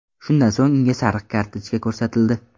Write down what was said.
Shundan so‘ng unga sariq kartochka ko‘rsatildi.